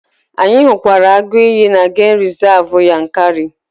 Anyị hụkwara agụ iyi na gemụ rizavụ Yankari.